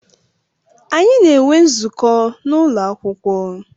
Anyi na enwe nzukọ na ụlọ akwụkwọ.